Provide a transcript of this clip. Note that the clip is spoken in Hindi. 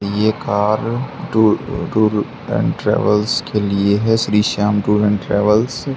ये car tour tour and travels के लिए है Shri Shyam tour and travels --